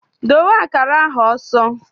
Dowe akara ahụ ọsọ!